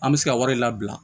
An bɛ se ka wari labila